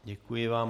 Děkuji vám.